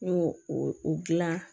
N y'o o o dilan